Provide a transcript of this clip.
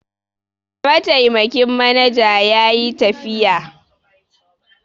Mataimakin manaja ya yi tafiya.